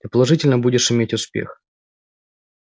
ты положительно будешь иметь успех